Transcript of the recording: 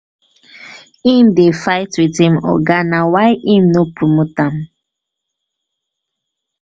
im dey fight wit im oga na why im no promote am.